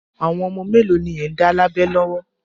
Àwọn ọmọ mélòó ni ẹ̀ ń dá lábẹ lọ́wọ́?